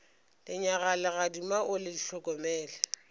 lenyaga legadima o le hlokomele